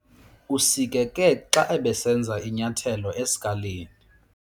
Usikeke xa ebesenza inyathelo esikalini.